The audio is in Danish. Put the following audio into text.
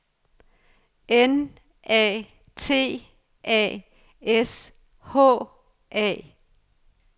N A T A S H A